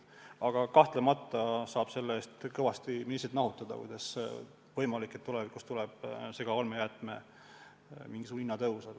Aga kahtlemata saab selle eest kõvasti ministrit nahutada: kuidas on võimalik, et tulevikus tuleb segaolmejäätmete hinna tõus!?